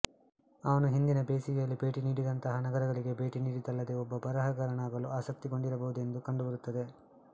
ಅವನು ಹಿಂದಿನ ಬೇಸಿಗೆಯಲ್ಲಿ ಭೇಟಿನೀಡಿದಂತಹ ನಗರಗಳಿಗೆ ಭೇಟಿ ನೀಡಿದ್ದಲ್ಲದೇ ಒಬ್ಬ ಬರಹಗಾರನಾಗಲು ಆಸಕ್ತಗೊಂಡಿರಬಹುದೆಂದು ಕಂಡುಬರುತ್ತದೆ